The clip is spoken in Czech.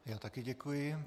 Já také děkuji.